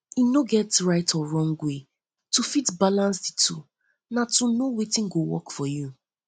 e no get right or wrong way to fit balance di two na to know know wetin go work for you